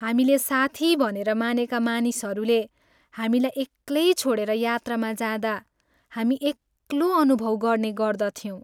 हामीले साथी भनेर मानेका मानिसहरूले हामीलाई एक्लै छोडेर यात्रामा जाँदा हामी एक्लो अनुभव गर्ने गर्दथ्यौँ।